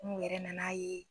N'u yɛrɛ nan'a ye